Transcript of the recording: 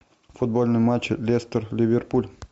футбольный матч лестер ливерпуль